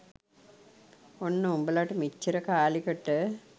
ඔන්න උබලට මෙච්චර කාලෙකට